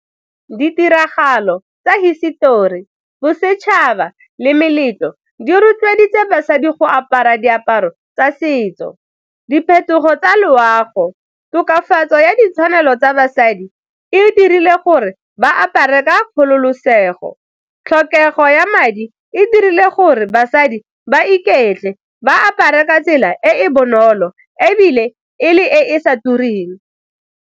Ditiragalo tsa hisetori, bosetšhaba le meletlo di rotloeditse basadi go apara diaparo tsa setso. Diphetogo tsa loago, tokafatso ya ditshwanelo tsa basadi e dirile gore ba apare ka kgololosego, tlhokego ya madi e dirile gore basadi ba iketle ba apare ka tsela e e bonolo ebile e le e e sa tureng.